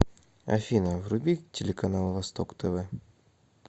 афина вруби телеканал восток тв